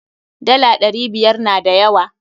Dala ɗari biyar na da yawa.